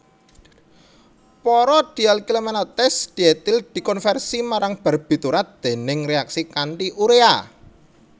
Para dialkylmalonates dietil dikonversi marang barbiturat déning reaksi kanti urea